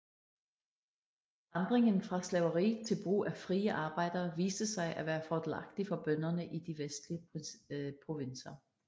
Forandringen fra slaveri til brug af frie arbejdere viste sig at være fordelagtig for bønderne i de vestlige provinser